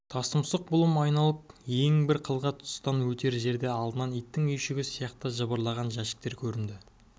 тастұмсық бұлым айналып ең бір қылға тұстан өтер жерде алдыдан иттің үйшігі сияқты жыбырлаған жәшіктер көрінді